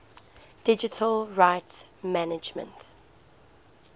digital rights management